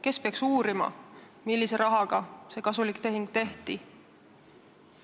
Kes peaks uurima, millise rahaga see kasulik tehing tehti?